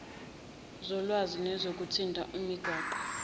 zolwazi nezokuthintana imigwaqo